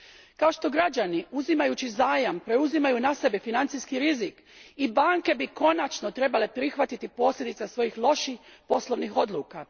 Kao što građani, uzimajući zajam, preuzimaju na sebe financijski rizik, i banke bi konačno trebale prihvatiti posljedice svojih loših poslovnih odluka.